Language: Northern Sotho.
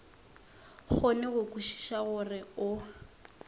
kgone go kwešiša gore o